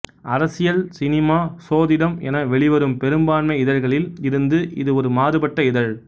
அரசியல் சினிமா சோதிடம் என வெளிவரும் பெரும்பான்மை இதழ்களில் இருந்து இது ஒரு மாறுபட்ட இதழ்